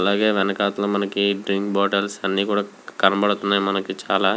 అలాగే వెనకాతల మనకి డ్రింక్ బాటిల్స్ అన్నీ కూడా కనపడుతున్నాయి. మనకి చాలా --